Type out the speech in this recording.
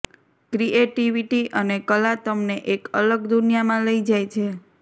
creativity અને કલા તમને એક અલગ દુનિયામાં લઇ જાય છે